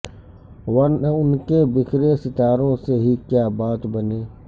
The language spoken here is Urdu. ورنہ ان بکھرے ستاروں سے ہی کیا بات بنے